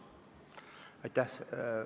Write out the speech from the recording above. Aitäh!